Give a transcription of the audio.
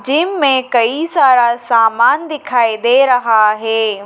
Gym में कई सारा सामान दिखाई दे रहा है।